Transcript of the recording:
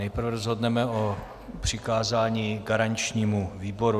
Nejprve rozhodneme o přikázání garančnímu výboru.